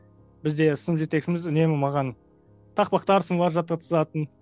бізде сынып жетекшіміз үнемі маған тақпақтар жаттатқызатын